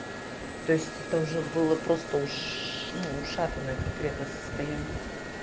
то есть это уже было просто уши у шапкино конкретное состояние